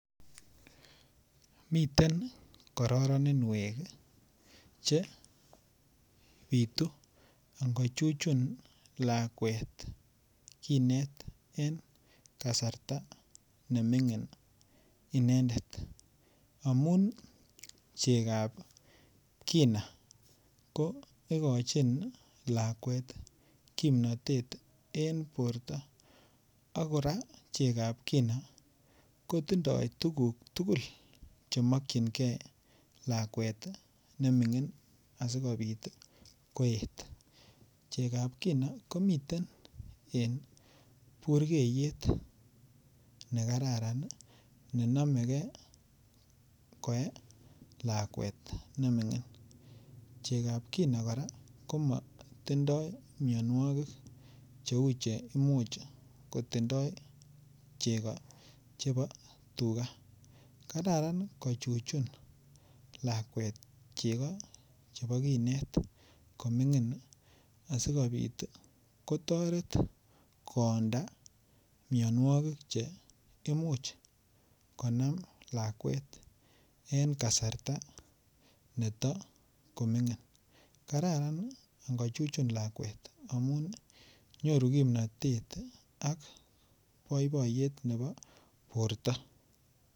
Miten kororoninwek che bitu ingochuchun lakwet kinet en kasarta netoko ming'in inendet amun chekab kinaa kokochin lakwet kipnotet en borto ak kora chekab kina kotindoo tukuk tugul chemokyinge lakwet neming'in asikobit koet chekab kina komiten en burgeyet nekararan nenomegee koe lakwet neming'in chekab kina kora komotindoo mianwokik chemuch kotinye cheko chebo tukaa, kararan kochuchun lakwet cheko che bo kinet koming'in asikobit kotoret koonda mianwokik che imuch konam lakwet en kasarta netokoming'in kararan ingo chuchun lakwet amun nyoru kipnotet ak boiboiyet ne bo borto.